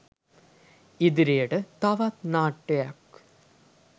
ඉදිරියට තවත් නාට්‍යයක්